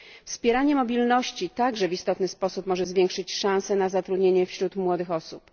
Wspieranie mobilności także w istotny sposób może zwiększyć szanse na zatrudnienie wśród młodych osób.